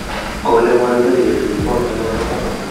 kole boyot mache ketekchi kot neo nebo kwangut